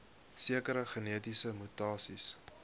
sekere genetiese mutasies